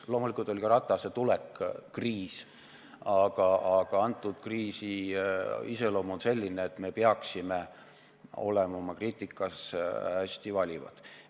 Loomulikult oli ka Ratase tulek kriis, aga praeguse kriisi iseloom on selline, et me peaksime kritiseerimisel olema hästi valivad.